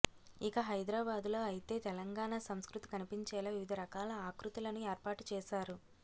ఇక హైదరాబాద్ లో అయితే తెలంగాణ సంస్కృతి కనిపించేలా వివిధ రకాలా ఆకృతులను ఏర్పాటు చేశారు